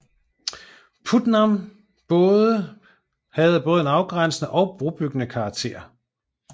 Putnam både have en afgrænsende og en brobyggende karakter